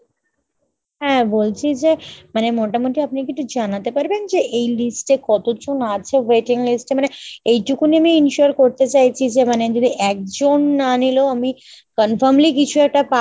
হ্যাঁ বলছি যে মানে আপনি কী মোটামুটি একটু জানাতে পারবেন যে এই list এ কতজন আছে waiting list এ মানে এইটুকুনি আমি ensure করতে চাইছি যে মানে যদি একজন না নিলেও আমি confirmly কিছু একটা পাবো মানে কেউ